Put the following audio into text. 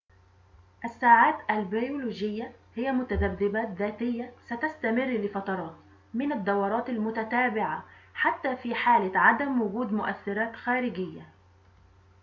الساعات البيولوجية هي متذبذبات ذاتية ستستمر لفترات من الدورات المتتابعة حتى في حالة عدم وجود مؤثراتٍ خارجية